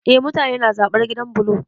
Eh, mutane na zaɓar gidan bulo